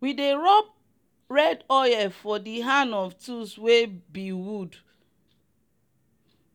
we dey rub red oil for the hand of tools wey be wood